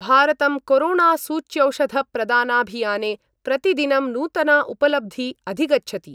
भारतं कोरोणासूच्यौषधप्रदानाभियाने प्रतिदिनं नूतना उपलब्धी अधिगच्छति।